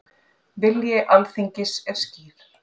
Vilji Alþingis skýr